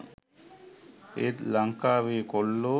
ඒත් ලංකාවේ කොල්ලෝ